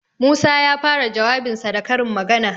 Musa ya fara jawabinsa da karin magana.